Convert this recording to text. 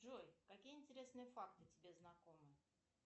джой какие интересные факты тебе знакомы